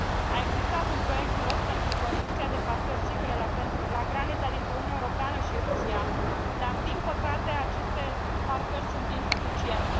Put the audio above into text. A existat un proiect de raport pentru construcția de parcări sigure la granița dintre Uniunea Europeană și Rusia, dar, din păcate, aceste parcări sunt insuficiente.